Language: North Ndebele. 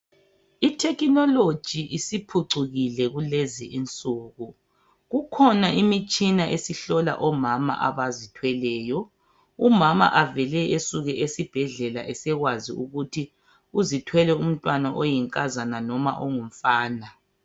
I technology isiphucukile kulezi insuku Kukhona imitshina esihlola omama abazithweleyo. Umama avele esuke esibhedlela esekwazi ukuthi uzithwele umntwana oyinkazakana noma ongumfana